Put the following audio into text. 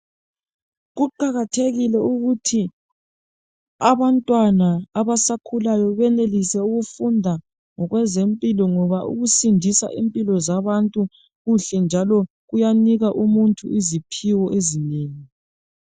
Kuqakathekile ukuthi abantwana abasakhulayo benelise ukufunda ngokwezempilo ngoba ukusindisa impilo zabantu kuhle njalo kuyanika umuntu iziphiwo ezinengi.